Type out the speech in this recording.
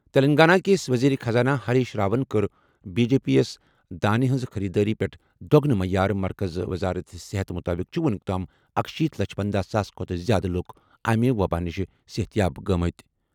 تیٚلنٛگانہ کِس ؤزیٖرِ خزانہٕ ہریٖش راون کٔر بی جے پی یَس دانہِ ہِنٛزِ خٔریٖدٲری پٮ۪ٹھ دۄگنہٕ معیار مرکزی وزارت صحتَس مُطٲبِق چھِ وُنیُک تام اکشیٖتھ لچھ پنَدہ ساس کھۄتہٕ زِیٛادٕ لُکھ امہِ وبٲیی نِش صحت یاب گٔمٕتۍ۔